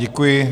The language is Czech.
Děkuji.